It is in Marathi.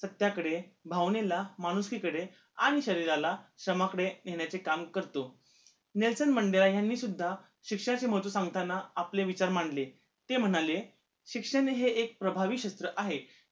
सत्याकडे, भावनेला, माणुसकीकडे आणि शरीराला श्रमाकडे नेण्याचे काम करतो. नेल्सन मंडेला यांनी सुद्धा शिक्षणाचे महत्व सांगताना आपले विचार मांडले, ते म्हणाले शिक्षण हे एक प्रभावी शस्त्र आहे